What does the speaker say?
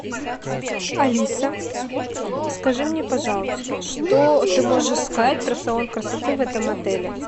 алиса скажи мне пожалуйста что ты можешь сказать про салон красоты в этом отеле